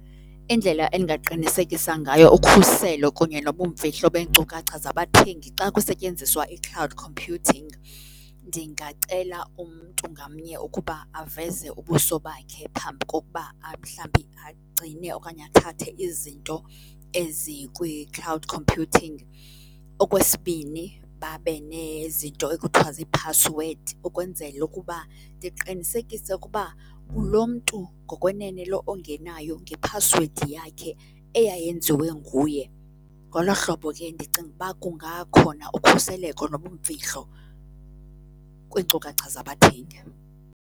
Indlela endingaqinisekisa ngayo ukhuselo kunye nobumfihlo beenkcukacha zabathengi xa kusetyenziswa i-cloud computing, ndingacela umntu ngamnye ukuba aveze ubuso bakhe phambi kokuba mhlawumbi agcine okanye athathe izinto ezikwi-cloud computing. Okwesibini, babe nezinto ekuthiwa ziiphasiwedi ukwenzela ukuba ndiqinisekise ukuba ngulo mntu ngokwenene lo ongenayo ngephasiwedi yakhe eyayenziwe nguye. Ngolo hlobo ke ndicinga uba kungakhona ukhuseleko nobumfihlo kwiinkcukacha zabathengi.